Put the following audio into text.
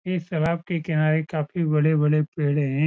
इस सड़क के किनारे काफी बड़े-बड़े पेड़े है।